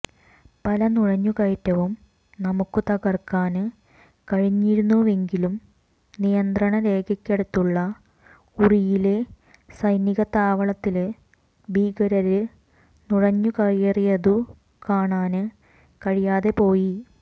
പല നുഴഞ്ഞുകയറ്റവും നമുക്കു തകര്ക്കാന് കഴിഞ്ഞിരുന്നുവെങ്കിലും നിയന്ത്രണ രേഖക്കടുത്തുള്ള ഉറിയിലെ സൈനികത്താവളത്തില് ഭീകരര് നുഴഞ്ഞുകയറിയതു കാണാന് കഴിയാതെ പോയി